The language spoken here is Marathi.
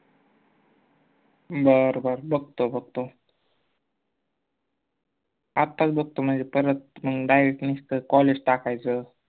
बर बर बघतो बघतो आताच बघतो म्हनजे परत मंग guidance कर college टाकायचं